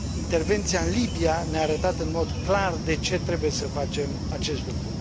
Intervenția în Libia ne a arătat în mod clar de ce trebuie să facem acest lucru.